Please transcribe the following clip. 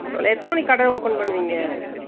எத்தன மணிக்கு கட open பண்ணுவீங்க ?